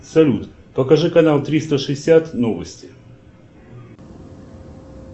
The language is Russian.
салют покажи канал триста шестьдесят новости